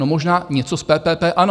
No, možná něco z PPP, ano.